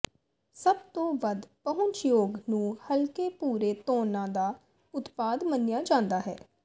ਸਭ ਤੋਂ ਵੱਧ ਪਹੁੰਚਯੋਗ ਨੂੰ ਹਲਕੇ ਭੂਰੇ ਤੌਨਾਂ ਦਾ ਉਤਪਾਦ ਮੰਨਿਆ ਜਾਂਦਾ ਹੈ